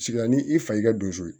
Sigilan ni i fa y'i ka donso ye